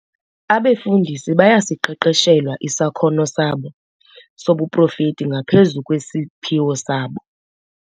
Abefundisi bayasiqeqeshelwa isakhono sobuprofethi ngaphezu kwesiphiwo sabo.